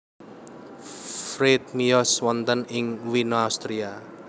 Fried miyos wonten ing Wina Austria